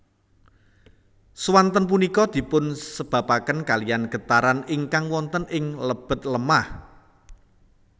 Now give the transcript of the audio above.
Swanten punika dipunsababaken kaliyan getaran ingkang wonten ing lebet lemah